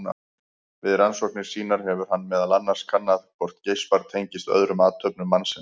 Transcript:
Við rannsóknir sínar hefur hann meðal annars kannað hvort geispar tengist öðrum athöfnum mannsins.